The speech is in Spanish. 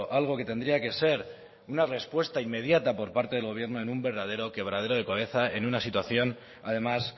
algo que tendría que ser una respuesta inmediata por parte del gobierno en un verdadero quebradero de cabeza en una situación además